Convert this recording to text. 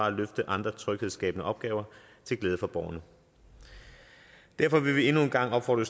at løfte andre tryghedsskabende opgaver til glæde for borgerne derfor vil vi endnu en gang opfordre